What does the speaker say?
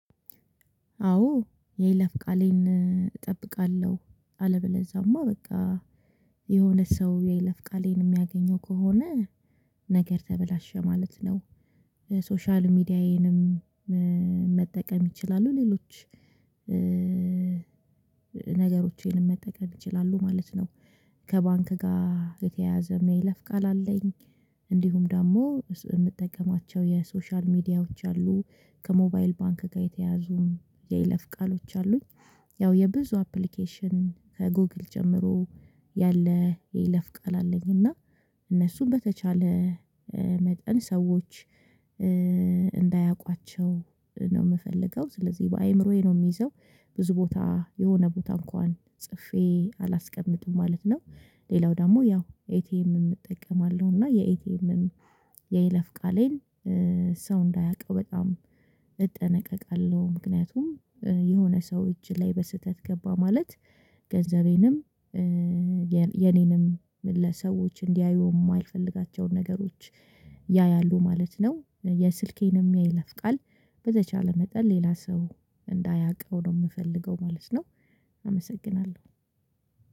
አዎ የይለፍ ቃሌን እጠብቃለሁ አለበለዛማ በቃ የሆነ ሰው የለፍ ቃሌን የሚያገኘው ከሆነ ነገር ተበላሸ ማለት ነው። ሶሻል ሚዲያዬንም መጠቀም ይችላሉ ሌሎች ነገሮቼንም መጠቀም ይችላሉ ማለት ነው። ከባንክ ጋር የተያያዘ የይለፍ ቃል አለኝ። እንዲሁም ደግሞ የምትጠቀማቸው የሶሻል ሚዲያዎች አሉ ከሞባይል ባንክ ጋር የተያዙ የይለፍ ቃሎች አሉኝ። ያው የብዙ አፕሊኬሽን ከጎግል ጀምሮ ያለ የይለፍ ቃል አለኝ እና እነሱን በተቻለ መጠን ሰዎች እንዳያቋቸው ነው የምፈልገው ስለዚህ በአእምሮዬ ነው የሚይዘው። ብዙ ቦታ የሆነ ቦታ እንኳን ጽፌ አላስቀምጥም ማለት ነው። ሌላው ደግሞ ያው ኤቲኤምም እጠቀማለሁ እና የኤቲኤምም የይለፍ ቃሌን ሰው እንዳያውቀው በጣም እጠነቀቃለሁ። ምክንያቱም የሆነ ሰው እጅ ላይ በስህተት ገባ ማለት ገንዘቤንም የኔንም ለሰዎች እንዲያዩ የማይፈልጋቸውን ነገሮች ያያሉ ማለት ነው። የስልኬንም የይለፍ ቃል በተቻለ መጠን ሌላ ሰው እንዳያውቀው ነው የምፈልገው ማለት ነው። አመሰግናለሁ።